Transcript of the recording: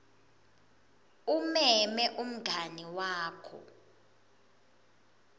umeme umngani wakho